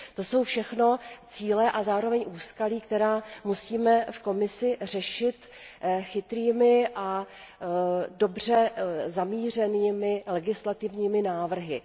To jsou všechno cíle a zároveň úskalí, která musíme v Komisi řešit chytrými a dobře zamířenými legislativními návrhy.